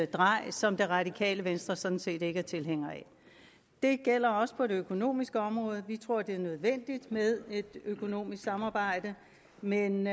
drej som det radikale venstre sådan set ikke er tilhænger af det gælder også på det økonomiske område vi tror det er nødvendigt med et økonomisk samarbejde men